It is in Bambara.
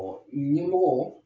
ɲɛmɔgɔ